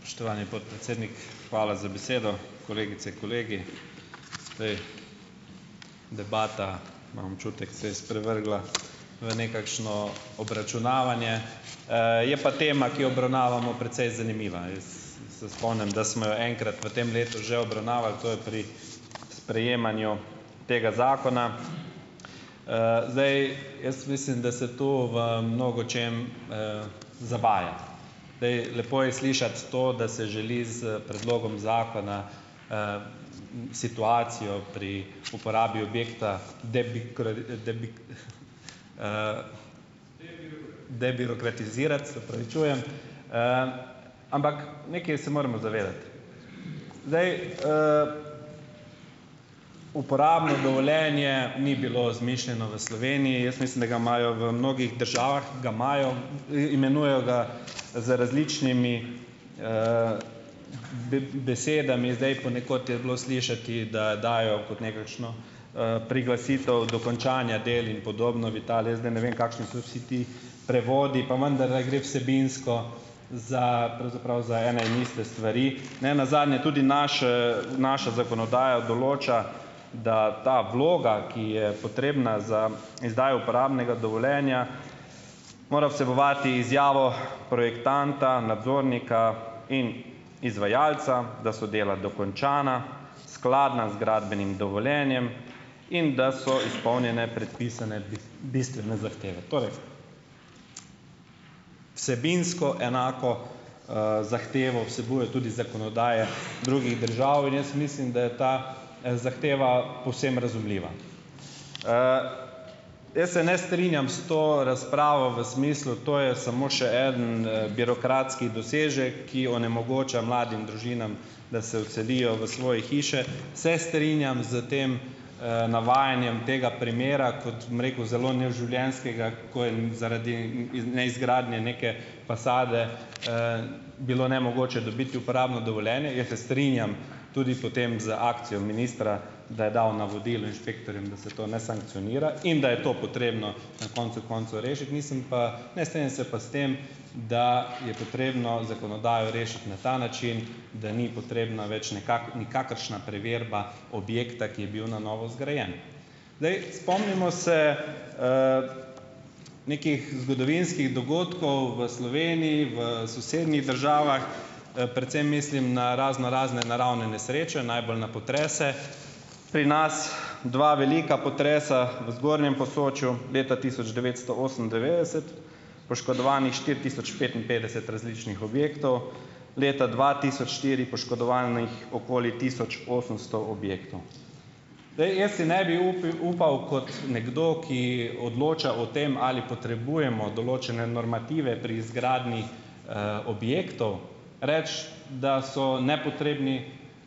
Spoštovani podpredsednik, hvala za besedo. Kolegice, kolegi! Zdaj. Debata, imam občutek, se je sprevrgla v nekakšno obračunavanje. Je pa tema, ki jo obravnavamo precej zanimiva. Jaz se spomnim, da smo jo enkrat v tem letu že obravnavali, to je pri sprejemanju tega zakona. Zdaj jaz mislim, da se tu v mnogočem, zavaja. Zdaj. Lepo je slišati to, da se želi s predlogom zakona situacijo pri uporabi objekta debirokratizirati, se opravičujem. Ampak nekaj se moramo zavedati, zdaj, uporabno dovoljenje ni bilo izmišljeno v Sloveniji. Jaz mislim, da ga imajo v mnogih državah, ga imajo, imenujejo ga z različnimi besedami. Zdaj ponekod je bilo slišati, da dajejo kot nekakšno, priglasitev dokončanja del in podobno v Italiji, jaz zdaj ne vem, kakšni so vsi ti prevodi, pa vendarle gre vsebinsko za pravzaprav za ene in iste stvari. Ne nazadnje tudi naše naša zakonodaja določa, da ta vloga, ki je potrebna za izdajo uporabnega dovoljenja, mora vsebovati izjavo projektanta, nadzornika in izvajalca, da so dela dokončana, skladna z gradbenim dovoljenjem in da so izpolnjene predpisane bistvene zahteve. Torej, vsebinsko enako, zahtevo vsebujejo tudi zakonodaje drugih držav in jaz mislim, da je ta, zahteva povsem razumljiva. Jaz se ne strinjam s to razpravo v smislu, to je samo še eden, birokratski dosežek, ki onemogoča mladim družinam, da se odselijo v svoje hiše. Se strinjam s tem, navajanjem tega primera kot, bom rekel, zelo neživljenjskega, ko je, zaradi, neizgradnje neke fasade, bilo nemogoče dobiti uporabno dovoljenje. Jaz se strinjam tudi potem z akcijo ministra, da je dal navodilo inšpektorjem, da se to ne sankcionira in da je to potrebno na koncu koncev rešiti, nisem pa, ne strinjam se pa s tem, da je potrebno zakonodajo rešiti na ta način, da ni potrebna več nikakršna preverba objekta, ki je bil na novo zgrajen. Zdaj, spomnimo se nekih zgodovinskih dogodkov v Sloveniji, v sosednjih državah, predvsem mislim na raznorazne naravne nesreče, najbolj na potrese. Pri nas dva velika potresa v zgornjem Posočju leta tisoč devetsto osemindevetdeset poškodovanih štiri tisoč petinpetdeset različnih objektov, leta dva tisoč štiri poškodovanih okoli tisoč osemsto objektov. Zdaj, jaz si ne bi upiv, upal kot nekdo, ki odloča o tem, ali potrebujemo določene normative pri izgradnji, objektov reči, da so nepotrebni,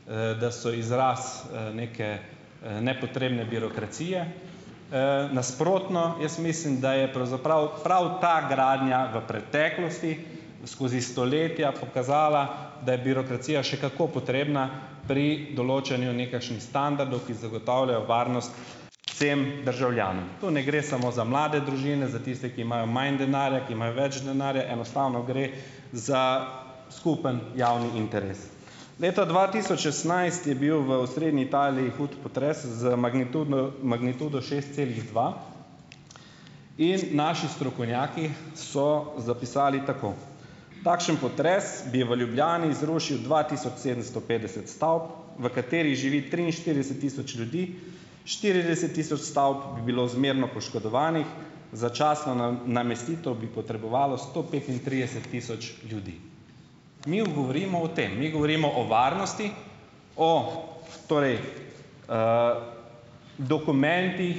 da so izraz, neke, nepotrebne birokracije, - nasprotno, jaz mislim, da je pravzaprav prav ta gradnja v preteklosti, skozi stoletja pokazala, da je birokracija še kako potrebna pri določanju nekakšnih standardov, ki zagotavljajo varnost vsem državljanom. Tu ne gre samo za mlade družine, za tiste, ki imajo manj denarja, ki imajo več denarja, enostavno gre za skupen javni interes. Leta dva tisoč šestnajst je bil v osrednji Italiji hud potres z magnitudno magnitudo šest celih dva in naši strokovnjaki so zapisali tako: "Takšen potres bi v Ljubljani zrušil dva tisoč sedemsto petdeset stavb, v katerih živi triinštirideset tisoč ljudi, štirideset tisoč stavb bi bilo zmerno poškodovanih, začasno namestitev bi potrebovalo sto petintrideset tisoč ljudi." Mi govorimo o tem, mi govorimo o varnosti, o torej dokumentih,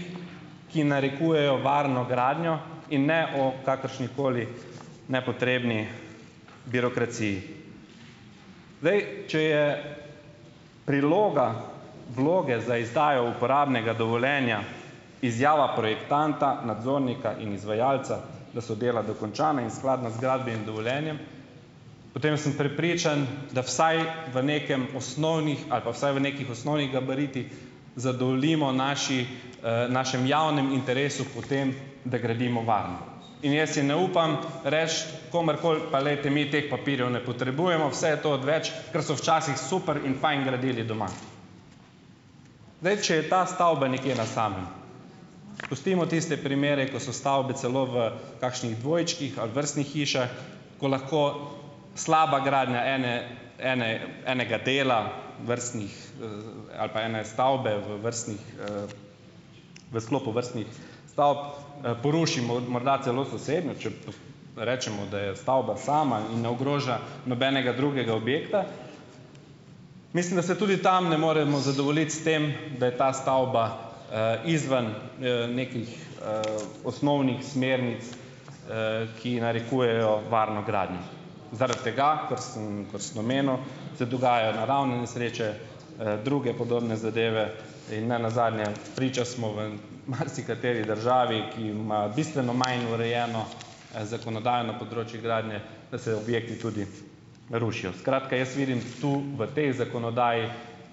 ki narekujejo varno gradnjo in ne o kakršnikoli nepotrebni birokraciji. Zdaj, če je priloga vloge za izdajo uporabnega dovoljenja izjava projektanta, nadzornika in izvajalca, da so dela dokončana in skladno z gradbenim dovoljenjem, potem sem prepričan, da vsaj v nekem osnovnih, ali pa vsaj v nekih osnovnih gabaritih zadovoljimo naši, našem javnem interesu po tem, da gradimo varno. In jaz si ne upam reči komurkoli: "Pa, glejte mi teh papirjev ne potrebujemo, vse to odveč, ker so včasih super in fajn gradili doma." Zdaj, če je ta stavba nekje na samem, pustimo tiste primere, ko so stavbe celo v kakšnih dvojčkih ali vrstnih hišah, ko lahko slaba gradnja ene, ene, enega dela vrstnih, ali pa ene stavbe v vrstnih v sklopu vrstnih stavb, poruši morda celo sosednjo, če pa rečemo, da je stavba sama in ne ogroža nobenega drugega objekta. Mislim, da se tudi tam ne moremo zadovoljiti s tem, da je ta stavba, izven, nekih, osnovnih smernic, ki narekujejo varno gradnjo. Zaradi tega, ker sem kot sem omenil, se dogajajo naravne nesreče, druge podobne zadeve in ne nazadnje - priča smo v marsikateri državi, ki ima bistveno manj urejeno, zakonodajno področje gradnje, da se objekti tudi rušijo. Skratka, jaz vidim tu v tej zakonodaji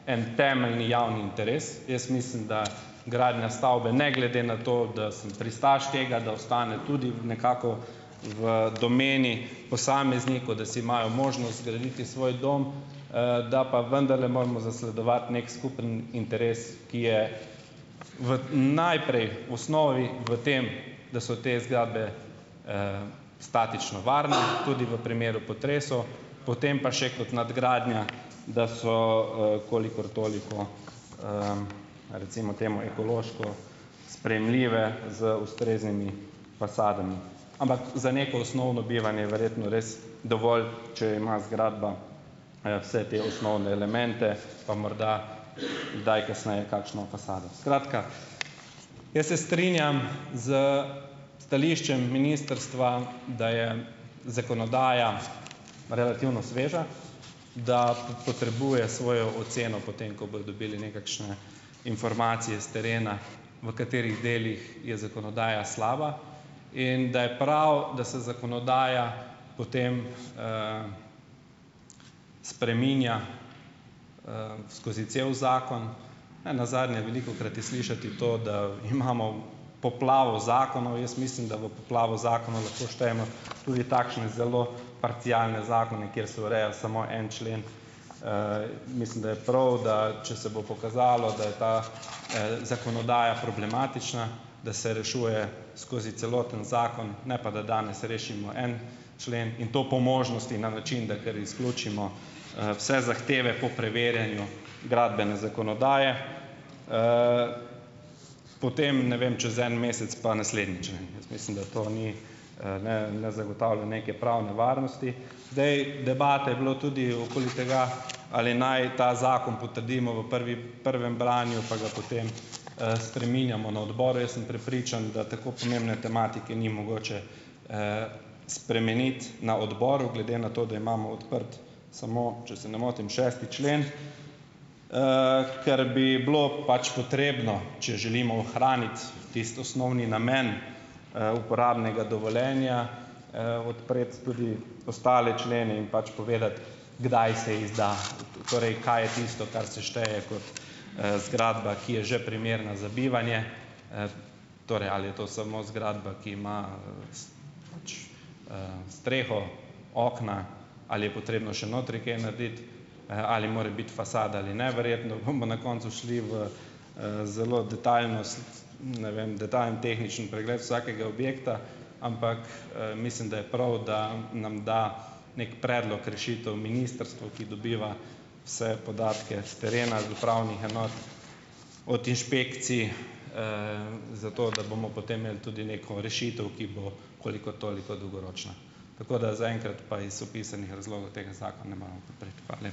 en temeljni javni interes. Jaz mislim, da gradnja stavbe ne glede na to, da sem pristaš tega, da ostane tudi v nekako v domeni posameznikov, da si imajo možnost zgraditi svoj dom, da pa vendarle moramo zasledovati neki skupni interes, ki je v - najprej, v osnovi v tem, da so te zgradbe statično varne, tudi v primeru potresov. Potem pa še kot nadgradnja, da so, kolikor toliko, recimo temu, ekološko sprejemljive z ustreznimi fasadami. Ampak za neko osnovno bivanje je verjetno res dovolj, če ima zgradba, vse te osnovne elemente pa morda kdaj kasneje kakšno fasado. Skratka - jaz se strinjam s stališčem ministrstva, da je zakonodaja relativno sveža. Da potrebuje svojo oceno potem, ko bojo dobili nekakšne informacije s terena, v katerih delih je zakonodaja slaba. In da je prav, da se zakonodaja potem spreminja skozi cel zakon. Ne nazadnje, velikokrat je slišati to, da imamo poplavo zakonov - jaz mislim, da v poplavo zakonov lahko štejemo tudi takšne zelo parcialne zakone, kjer se ureja samo en člen. Mislim, da je prav, da če se bo pokazalo, da je ta, zakonodaja problematična, da se rešuje skozi celoten zakon, ne pa da danes rešimo en člen - in to po možnosti na način, da kar izključimo, vse zahteve po preverjanju gradbene zakonodaje, potem, ne vem, čez en mesec pa naslednji člen. Jaz mislim, da to ni, - ne ne zagotavlja neke pravne varnosti. Zdaj, debate je bilo tudi okoli tega, ali naj ta zakon potrdimo v prvi, prvem branju pa ga potem, spreminjamo na odboru. Jaz sem prepričan, da tako pomembne tematike ni mogoče, spremeniti na odboru. Glede na to, da imamo odprt samo, če se ne motim, šesti člen. Ker bi bilo pač potrebno, če želimo ohraniti tisti osnovni namen, uporabnega dovoljenja, odpreti tudi ostale člene in pač povedati, kdaj se izda - torej kaj je tisto, kar se šteje kot, zgradba, ki je že primerna za bivanje. Torej ali je to samo zgradba, ki ima, pač, streho, okna, ali je potrebno še notri kaj narediti, ali more biti fasada ali ne. Verjetno bomo na koncu šli v, zelo detajlnost, ne vem, detajlen tehnični pregled vsakega objekta. Ampak, mislim, da je prav, da nam da neki predlog rešitev ministrstvo, ki dobiva vse podatke s terena, z upravnih enot, od inšpekcij, zato da bomo potem imeli tudi neko rešitev, ki bo kolikor toliko dolgoročna. Tako da zaenkrat pa iz opisanih razlogov tega zakona ne moremo podpreti.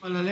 Hvala lepa.